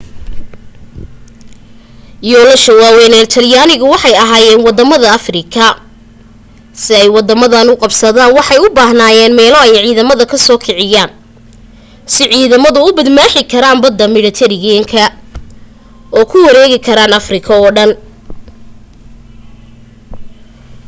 yoolasha waawayn ee talyaanigu waxay ahaayeen waddamada afrika si ay waddamadaas u qabsadaan waxay u baahanayeen meelo ay ciidamada ka soo kiciyaan si ciidamadu u badmaaxi karaan badda midhatareeniyanka oo u weerari karaan afrika